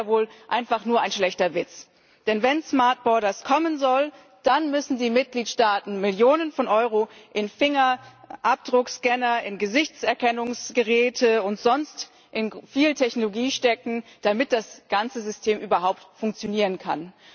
Aber das ist ja wohl einfach nur ein schlechter Witz, denn wenn smart borders kommen soll, dann müssen die Mitgliedsstaaten Millionen von Euro in Fingerabdruckscanner, in Gesichtserkennungsgeräte und sonst in viel Technologie stecken, damit das ganze System überhaupt funktionieren kann.